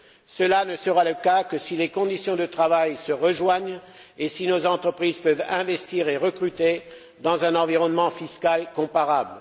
Cela ne sera le cas que si les conditions de travail se rejoignent et si nos entreprises peuvent investir et recruter dans un environnement fiscal comparable.